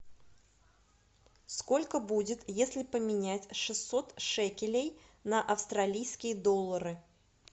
сколько будет если поменять шестьсот шекелей на австралийские доллары